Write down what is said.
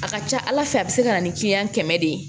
A ka ca ala fɛ a bɛ se ka na ni kiliyan kɛmɛ de ye